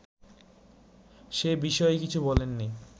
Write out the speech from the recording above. সে বিষয়ে কিছু বলেননি